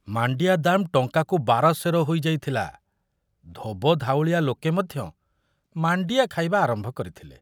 ମାଣ୍ଡିଆ ଦାମ ଟଙ୍କାକୁ ବାର ସେର ହୋଇଯାଇଥିଲା, ଧୋବଧାଉଳିଆ ଲୋକେ ମଧ୍ୟ ମାଣ୍ଡିଆ ଖାଇବା ଆରମ୍ଭ କରିଥିଲେ।